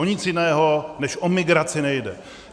O nic jiného než o migraci nejde.